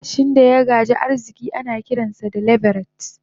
matashin daya gaji arziki anakiransa da "leveret"